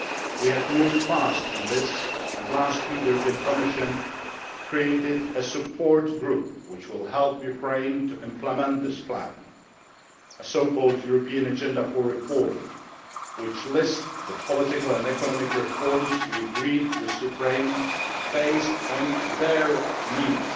We have moved fast on this, and last week the European Commission created a Support Group which will help Ukraine to implement this plan a so called European agenda for reform which lists the political and economic reforms we agreed with Ukraine, based on their needs.